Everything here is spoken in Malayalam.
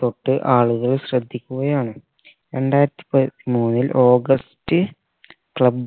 തൊട്ട് ആളുകൾ ശ്രദ്ധിക്കുക ആണ് രണ്ടായിരത്തി പതിമൂന്നിൽ august club